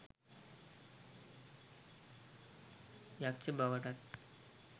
යක්ෂ බවටත්